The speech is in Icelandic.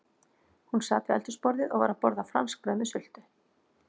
Hún sat við eldhúsborðið og var að borða franskbrauð með sultu.